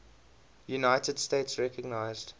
united states recognized